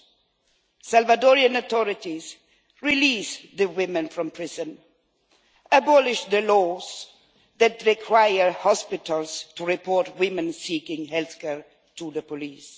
I call on the Salvadorian authorities release the women from prison, abolish the laws that require hospitals to report women seeking health care to the police.